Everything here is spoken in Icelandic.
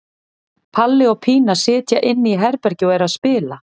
Palli og Pína sitja inni í herbergi og eru að spila.